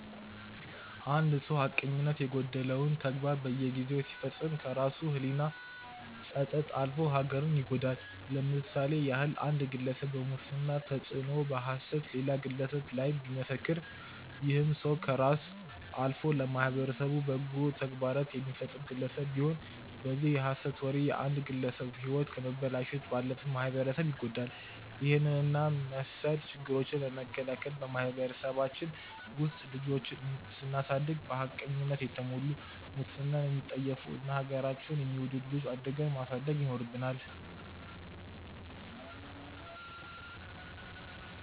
አንድ ሰው ሀቀኝነት የጎደለውን ተግባር በየጊዜው ሲፈጽም ከራሱ ህሊና ጸጸት አልፎ ሀገርን ይጎዳል። ለምሳሌ ያህል አንድ ግለሰብ በሙስና ተጽዕኖ በሐሰት ሌላ ግለሰብ ላይ ቢመሰክር ይህም ሰው ከራስ አልፎ ለማህበረሰቡ በጎ ተግባራትን የሚፈጸም ግለሰብ ቢሆን በዚህ የሐሰት ወሬ የአንድን ግለሰብ ህይወት ከማበላሸት ባለፈ ማህበረሰብ ይጎዳል። ይህንን እና መስል ችግሮችን ለመከላከል በማህበረሰባችን ውስጥ ልጆችን ስናሳደግ በሀቅነት የተሞሉ፣ ሙስናን የሚጠየፉ እና ሀገራቸውን የሚወዱ ልጆች አድርገን ማሳደግ ይኖርብናል።